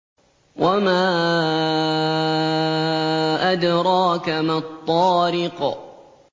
وَمَا أَدْرَاكَ مَا الطَّارِقُ